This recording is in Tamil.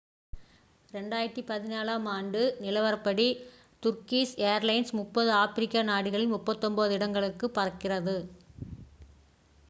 2014 ஆம் ஆண்டு நிலவரப்படி turkish ஏர்லைன்ஸ் 30 ஆப்பிரிக்க நாடுகளில் 39 இடங்களுக்கு பறக்கிறது